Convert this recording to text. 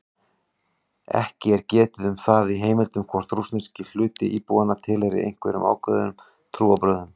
Ekki er getið um það í heimildum hvort rússneski hluti íbúanna tilheyrir einhverjum ákveðnum trúarbrögðum.